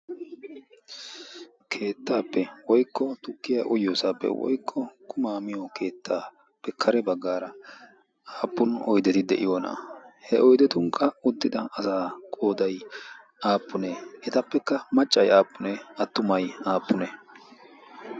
keettaappe woykko tukkiya oyyoosaappe woykko kumaa miyo keettaappe kare baggaara aappun odeti de'iyoonaa he oidetunkka uttida asaa qoodai aappunee etappekka maccai aappunee attumay aappune?